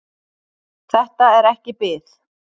Þetta er ekki bið.